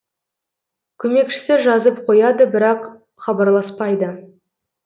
көмекшісі жазып қояды бірақ хабарласпайды